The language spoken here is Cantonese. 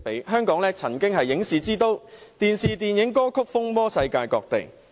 香港曾經是影視之都，電視、電影和歌曲風靡世界各地。